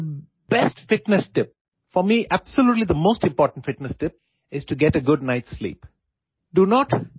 the best fitness tip for me absolutely the most important fitness tip is to get a good night slip